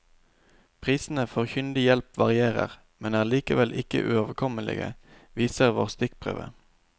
Prisene for kyndig hjelp varierer, men er likevel ikke uoverkommelige, viser vår stikkprøve.